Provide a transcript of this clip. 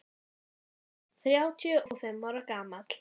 inn þrjátíu og fimm ára gamall.